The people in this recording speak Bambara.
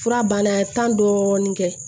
Fura banna tan dɔɔnin kɛ